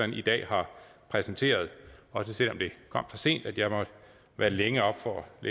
i dag har præsenteret også selv om det kom så sent at jeg måtte være længe oppe for at